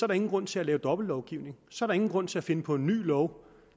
der ingen grund til at lave dobbeltlovgivning så er der ingen grund til at finde på en ny lov